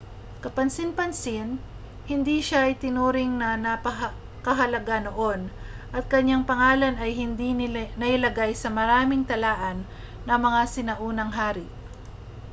kapansin-pansin hindi siya itinuring na napakahalaga noon at kaniyang pangalan ay hindi nailagay sa maraming talaan ng mga sinaunang hari